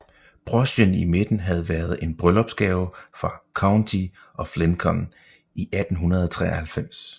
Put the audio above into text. Brochen i midten havde været en bryllupsgave fra County of Lincoln i 1893